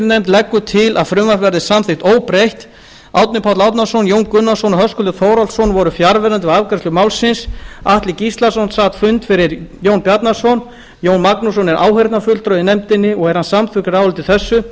nefndin leggur til að frumvarpið verði samþykkt óbreytt árni páll árnason jón gunnarsson og höskuldur þórhallsson voru fjarverandi við afgreiðslu málsins atli gíslason sat fund fyrir jón bjarnason jón magnússon er áheyrnarfulltrúi í nefndinni og er hann samþykkur áliti þessu